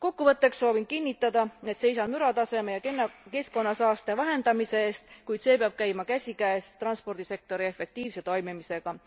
Kokkuvõtteks soovin kinnitada, et seisan mürataseme ja keskkonnasaaste vähendamise eest, kuid see peab käima käsikäes transpordisektori efektiivse toimimisega.